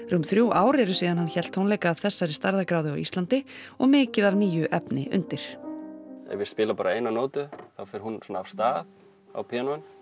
rúm þrjú ár eru síðan hann hélt tónleika af þessari stærðargráðu á Íslandi og mikið af nýju efni undir ef ég spila bara eina nótu þá fer hún svona af stað á píanóinu